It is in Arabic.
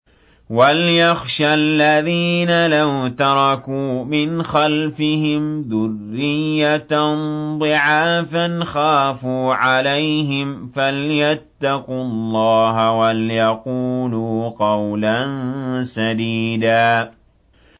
وَلْيَخْشَ الَّذِينَ لَوْ تَرَكُوا مِنْ خَلْفِهِمْ ذُرِّيَّةً ضِعَافًا خَافُوا عَلَيْهِمْ فَلْيَتَّقُوا اللَّهَ وَلْيَقُولُوا قَوْلًا سَدِيدًا